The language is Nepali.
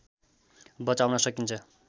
बचाउन सकिन्छ